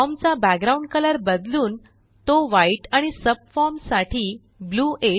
form चा background colour बदलून तो व्हाईट आणि सबफॉर्म साठी ब्लू 8 करा